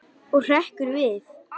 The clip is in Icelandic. Og hrekkur við.